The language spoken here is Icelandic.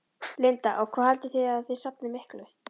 Linda: Og hvað haldið þið að þið safnið miklu?